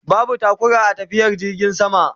Babu taƙura a tafiyar jirgin sama